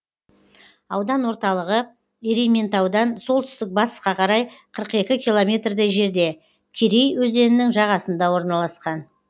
аудан орталығы ерейментаудан солтүстік батысқа қарай қырық екі километрдей жерде керей өзенінің жағасында орналасқан